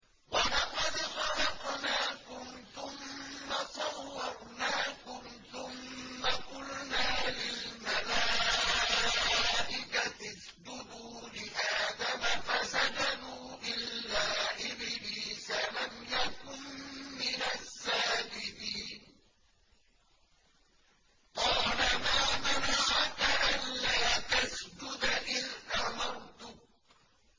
وَلَقَدْ خَلَقْنَاكُمْ ثُمَّ صَوَّرْنَاكُمْ ثُمَّ قُلْنَا لِلْمَلَائِكَةِ اسْجُدُوا لِآدَمَ فَسَجَدُوا إِلَّا إِبْلِيسَ لَمْ يَكُن مِّنَ السَّاجِدِينَ